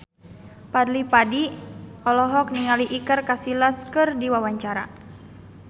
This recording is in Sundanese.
Fadly Padi olohok ningali Iker Casillas keur diwawancara